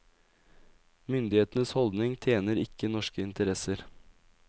Myndighetenes holdning tjener ikke norske interesser.